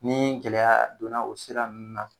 Ni gɛlɛya donna o sira nunnu na